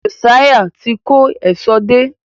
Josiah tí kò Èṣó dé